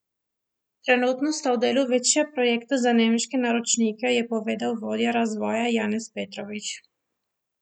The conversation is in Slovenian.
Trenutno sta v delu dva večja projekta za nemške naročnike, je povedal vodja razvoja Janez Petrovič.